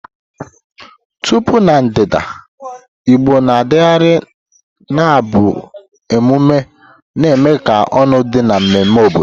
Tupu Na ndịda, Igbo na-adagharị n'abụ emume na-eme ka ọñụ dị n'ememme obodo.